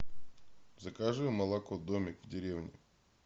закажи молоко домик в деревне